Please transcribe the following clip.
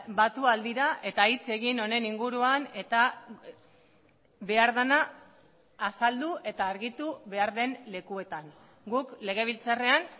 batu ahal dira eta hitz egin honen inguruan eta behar dena azaldu eta argitu behar den lekuetan guk legebiltzarrean